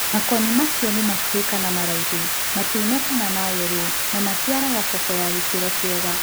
Makoni macio nĩmakuhĩ kana maraihu ,matune kana mayelo na maciaraga koko ya gĩkĩro kiega.